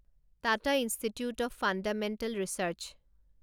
Tata Institute of Fundamental research